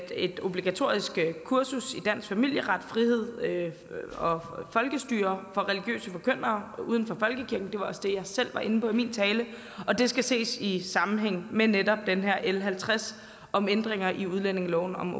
et obligatorisk kursus i dansk familieret frihed og folkestyre for religiøse forkyndere uden for folkekirken det var også det jeg selv var inde på i min tale og det skal ses i sammenhæng med netop den her l halvtreds om ændringer i udlændingeloven om